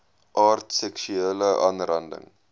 aard seksuele aanranding